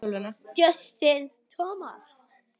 Justin Thomas.